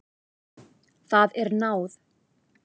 Það er náð.